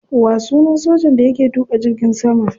Wa sunan sojan da yake tuka jirgin sama?